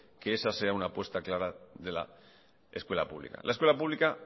que esa sea una apuesta clara de la escuela pública la escuela pública